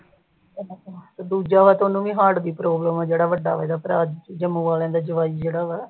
ਉਹ ਦੂਜਾ ਤੇ ਉਹਨੂੰ ਵੀ ਹਾਰਟ ਦੀ ਪਰਾਬਲਮ ਆ ਜਿਹੜਾ ਵੱਡਾ ਇਹਦਾ ਭਰਾ ਆਲਿਆਂ ਦਾ ਜਵਾਈ ਜਿਹੜਾ।